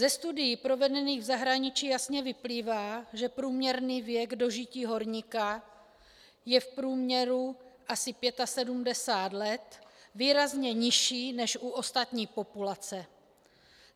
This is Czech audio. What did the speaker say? Ze studií provedených v zahraničí jasně vyplývá, že průměrný věk dožití horníka je v průměru asi 75 let, výrazně nižší než u ostatní populace.